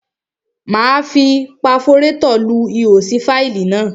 Máa fi paforétọ̀ lu ihò sí fáìlì náà.